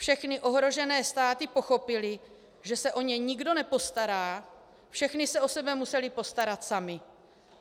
Všechny ohrožené státy pochopily, že se o ně nikdo nepostará, všechny se o sebe musely postarat samy.